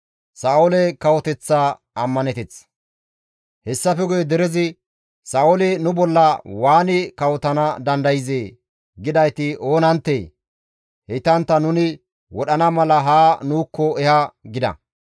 Hessafe guye derezi, « ‹Sa7ooli nu bolla waani kawotana dandayzee!› gidayti oonanttee? Heytantta nuni wodhana mala haa nuukko eha!» gida.